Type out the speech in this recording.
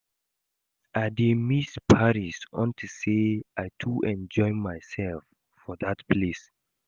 I dey miss París unto say I too enjoy myself for dat place